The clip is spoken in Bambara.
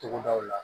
Togodaw la